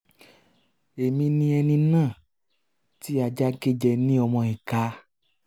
èmi ni ẹni um náà um tí ajá gé jẹ ní ọmọ ìka